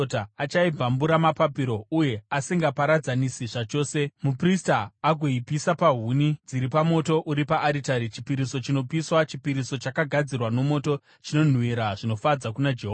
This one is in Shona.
Achaibvambura namapapiro ayo asingaiparadzanisi zvachose, muprista agoipisa pahuni dziri pamoto uri paaritari. Chipiriso chinopiswa, chipiriso chakagadzirwa nomoto, chinonhuhwira zvinofadza kuna Jehovha.